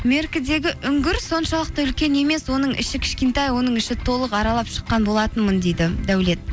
меркідегі үңгір соншалықты үлкен емес оның іші кішкентай оның ішін толық аралап шыққан болатынмын дейді дәулет